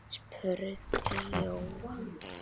spurði Jóhann.